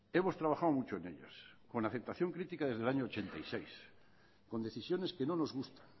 hemos trabajado mucho en ellos con aceptación crítica desde el año mil novecientos ochenta y seis con decisiones que no nos gusta